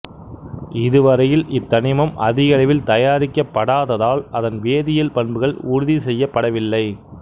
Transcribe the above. இதுவரையில் இத்தனிமம் அதிகளவில் தயாரிக்கப்படாத்தால் அதன் வேதியியல் பண்புகள் உறுதி செய்யப்படவில்லை